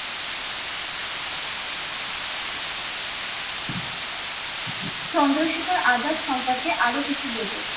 চন্দ্রশেখর আজাদ সম্পর্কে আরো কিছু বলুন?